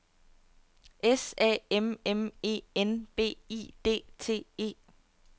S A M M E N B I D T E